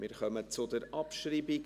Wir kommen zur Abschreibung.